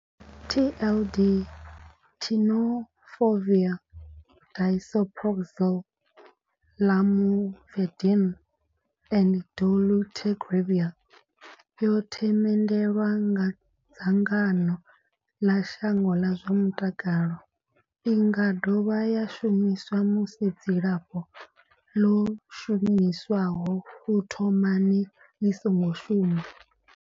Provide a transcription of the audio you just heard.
TLD, Tenofovir disoproxil, Lamivudine and dolutegravir, yo themendelwa nga dzangano ḽa shango ḽa zwa mutakalo. I nga dovha ya shumiswa musi dzilafho ḽo shumiswaho u thomani ḽi songo shuma.